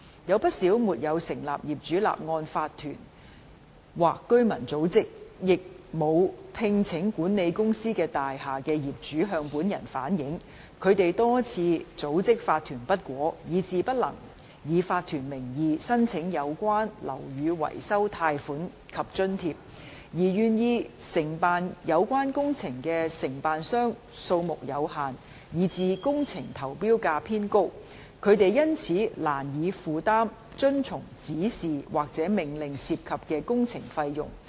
有不少沒有成立業主立案法團或居民組織，亦沒有聘請管理公司的大廈的業主向本人反映，他們多次組織法團不果，以致不能以法團名義申請有關的樓宇維修貸款及津貼，而願意承辦有關工程的承辦商數目有限，以致工程投標價偏高；他們因此難以負擔遵從指示或命令涉及的工程費用。